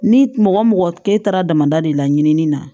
Ni mɔgɔ mɔgɔ ke taara damada de la ɲinini na